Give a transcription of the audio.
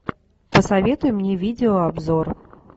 посоветуй мне видеообзор